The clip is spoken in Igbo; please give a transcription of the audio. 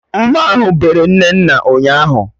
Mma ahụ bere Nnenna ụnyaahụ